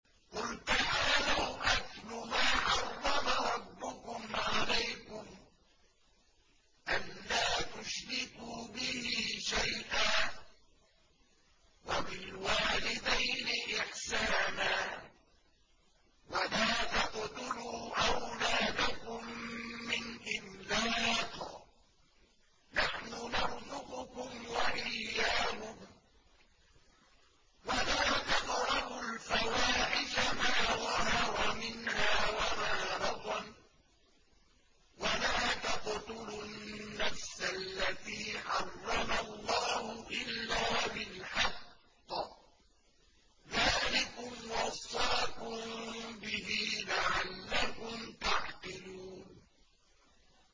۞ قُلْ تَعَالَوْا أَتْلُ مَا حَرَّمَ رَبُّكُمْ عَلَيْكُمْ ۖ أَلَّا تُشْرِكُوا بِهِ شَيْئًا ۖ وَبِالْوَالِدَيْنِ إِحْسَانًا ۖ وَلَا تَقْتُلُوا أَوْلَادَكُم مِّنْ إِمْلَاقٍ ۖ نَّحْنُ نَرْزُقُكُمْ وَإِيَّاهُمْ ۖ وَلَا تَقْرَبُوا الْفَوَاحِشَ مَا ظَهَرَ مِنْهَا وَمَا بَطَنَ ۖ وَلَا تَقْتُلُوا النَّفْسَ الَّتِي حَرَّمَ اللَّهُ إِلَّا بِالْحَقِّ ۚ ذَٰلِكُمْ وَصَّاكُم بِهِ لَعَلَّكُمْ تَعْقِلُونَ